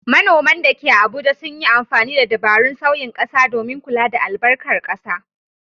Manoman da ke Abuja sun yi amfani da dabarun sauyin ƙasa domin kula da albarkar ƙasa.